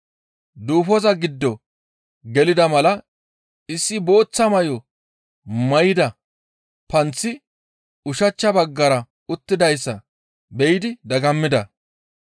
Duufoza giddo gelida mala issi booththa may7o may7ida panththi ushachcha baggara uttidayssa be7idi dagammida.